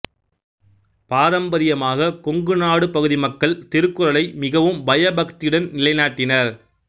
பாரம்பரியமாக கொங்கு நாடு பகுதி மக்கள் திருக்குறளை மிகவும் பயபக்தியுடன் நிலைநாட்டினர்